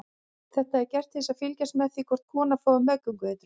Þetta er gert til að fylgjast með því hvort konan fái meðgöngueitrun.